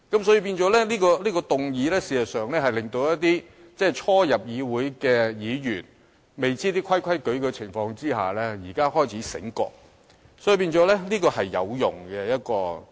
所以，謝偉俊議員這項議案事實上是令一些初入議會的議員，在他們仍然不知道規矩的情況下，現在開始醒覺了，因此這項議案是有用的。